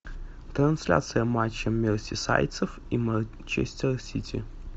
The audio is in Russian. трансляция матча мерсисайдцев и манчестер сити